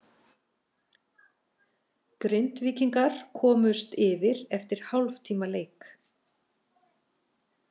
Grindvíkingar komust yfir eftir hálftíma leik.